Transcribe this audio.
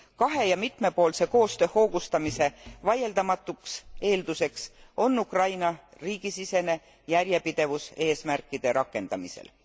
Kahe ja mitmepoolse koostöö hoogustamise vaieldamatuks eelduseks on Ukraina riigisisene järjepidevus eesmärkide rakendamisel.